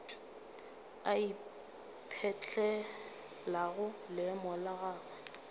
a ipetlelago leemo la gagwe